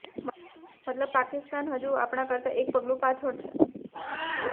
મતલબ પાકિસ્તાન હજુ આપણા કરતા એક પગલુ પાછળ છે